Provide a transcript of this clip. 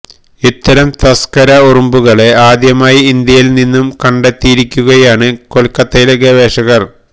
ഇത്തരം തസ്ക്കര ഉറുമ്പുകളെ ആദ്യമായി ഇന്ത്യയില് നിന്ന് കണ്ടെത്തിയിരിക്കുകയാണ് കൊല്ക്കത്തയിലെ ഗവേഷകര്